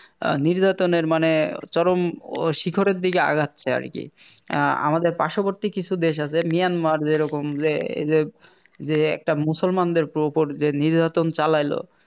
আহ নির্যাতনের মানে চরম শিখরের দিকে আগাচ্ছে আরকি অ্যাঁ আমাদের পার্শবর্তী কিছু দেশ আছে Myanmar যেরকম যে~ যে~ যে একটা মুসলমানদের উপর যে নির্যাতন চালাইল